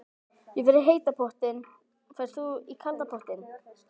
Ég fer í heita pottinn. Ferð þú í kalda pottinn?